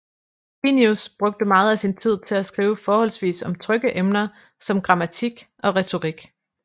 Plinius brugte meget af sin tid til at skrive forholdsvis om trygge emner som grammatik og retorik